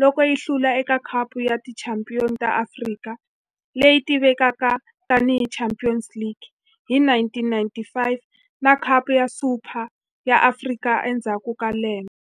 loko yi hlula eka Khapu ya Tichampion ta Afrika, leyi tivekaka tani hi Champions League hi 1995 na Khapu ya Super ya Afrika endzhaku ka lembe.